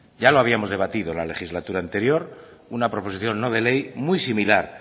ya lo habíamos debatido la legislatura anterior una proposición no de ley muy similar